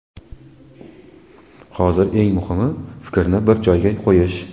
Hozir eng muhimi fikrni bir joyga qo‘yish”.